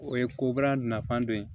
O ye ko baara nafan dɔ ye